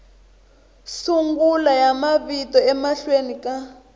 sungula ya mavito emahlweni ka